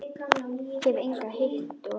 Hef engan hitt og.